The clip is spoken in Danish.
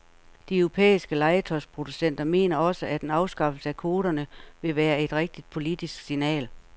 De europæiske legetøjsproducenter mener også, at en afskaffelse af kvoterne ville være et rigtigt politisk signal.